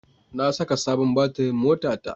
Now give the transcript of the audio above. Na saka sabon batirin motata.